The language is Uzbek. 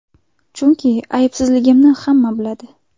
Chunki aybsizligimni hamma biladi.